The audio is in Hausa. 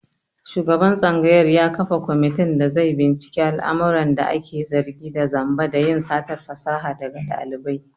Shugaban tsangayar ya kafa komitin da zai binciki al'amuran ake zargi da zamba da yin satar fasaha daga ɗalibai.